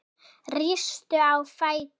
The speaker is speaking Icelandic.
Rístu á fætur